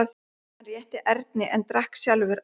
Hann rétti Erni en drakk sjálfur af stút.